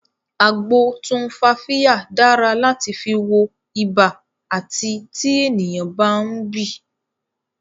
Agbo tumfafiya dára láti fi wọ ibà àti tí ènìyàn bá ń bì